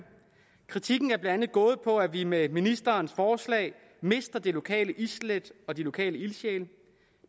kritikken er blandt andet gået på at vi med ministerens forslag mister det lokale islæt og de lokale ildsjæle